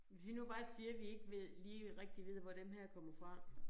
Hvis vi nu bare siger vi ikke ved lige rigtig hvor den her kommer fra